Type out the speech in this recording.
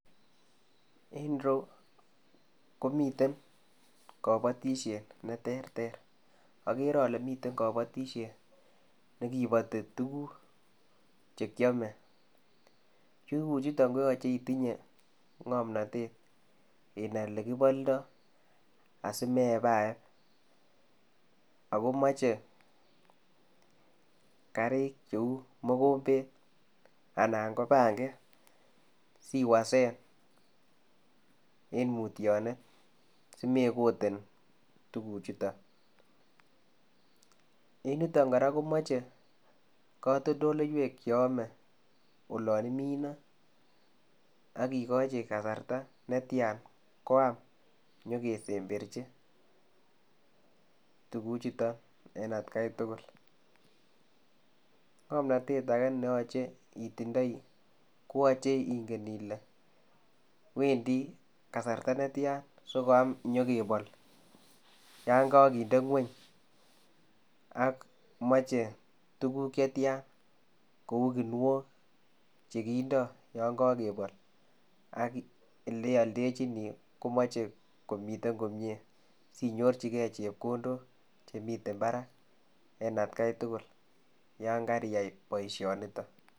En ireyuu komiteen kabatisyeet ne terter agere ale miten kabatisyeet nekipatii tuguuk che kyame, tuguuk chutoon koyachei itinyei ngamnatet inai ele kibaldaa asimeyepaep ago machei kariit che uu mogombeet anan ko . pangeet siwasen en mutyaneet simekoteen tuguuk chutoon, en yutoon kora ko machei katoltoleiweek che ame olaan iminee agigachii kasarta netyaan koyaam ole kesemberjiin tuguuk chutoon en at gai tugul ngamnatet age ne yachei itindoi ii ko yachei ingen Ile wendii kasarta netyaan sinyokn koyaam inyokebol2 yaan kagindei kweeny ak machei tuguuk che tyaan kouu kiniok chekindaa yaan kakebool ak ele yaldejini komachei komiteen komyei sinyorjigei chepkondook chemiten Barak en at gai tugul yaan Kari yai boisioni nitoon.